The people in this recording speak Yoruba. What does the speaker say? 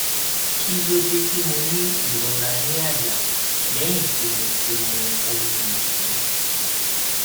kí ló dé tí mo ní ìrora ní àyà lẹyìn tí mo ti mu omi yìnyín